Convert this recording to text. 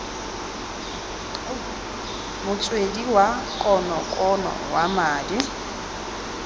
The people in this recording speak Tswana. motswedi wa konokono wa madi